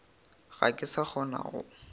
ga ke sa kgona go